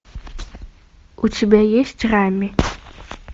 у тебя есть рами